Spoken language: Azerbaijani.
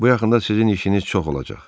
Bu yaxında sizin işiniz çox olacaq.